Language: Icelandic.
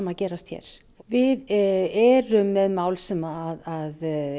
að gerast hér við erum með mál sem